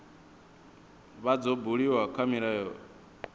vha dzo buliwa kha milayo